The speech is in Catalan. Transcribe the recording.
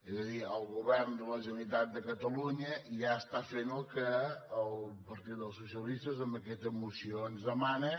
és a dir el govern de la generalitat de catalunya ja fa el que el partit dels socialistes amb aquesta moció ens demana